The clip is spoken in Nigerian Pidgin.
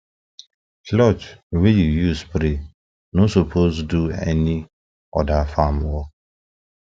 cloth wey you use spray no suppose do any other farm work